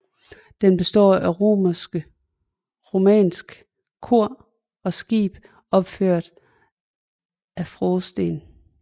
Den består af romansk kor og skib opført af frådsten